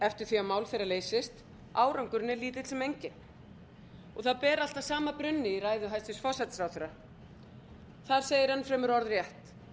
eftir því að mál þeirra leysist árangurinn er lítill sem enginn og það ber allt að sama brunni í ræðu hæstvirts forsætisráðherra þar segir enn fremur orðrétt